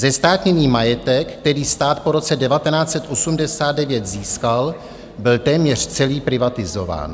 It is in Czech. Zestátněný majetek, který stát po roce 1989 získal, byl téměř celý privatizován.